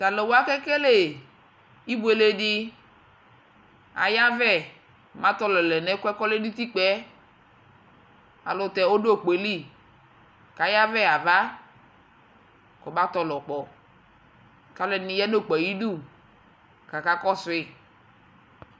Ta lu wa kele ibuele de, ayavɛ ma tɔlɔ lɛ nɛkuɛ kɔlɛ no utikpaɛAlutɛ ɔdo ukpoe li ka yavɛ ha ava kɔba tɔlɔ kpɔ ka alɛde ne ya no okpo ayidu kaka kɔsoe